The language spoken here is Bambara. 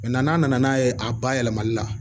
n'a nana n'a ye a bayɛlɛmali la